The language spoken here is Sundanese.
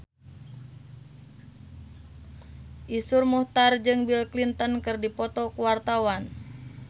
Iszur Muchtar jeung Bill Clinton keur dipoto ku wartawan